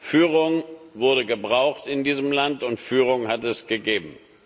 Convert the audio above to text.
Führung wurde gebraucht in diesem Land, und Führung hat es gegeben.